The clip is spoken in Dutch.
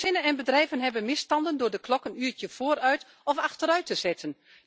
Gezinnen en bedrijven ondervinden hinder door de klok een uurtje vooruit of achteruit te zetten.